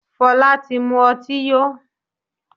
Fola tí mú ọtí yó.